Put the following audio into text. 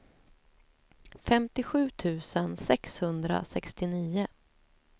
femtiosju tusen sexhundrasextionio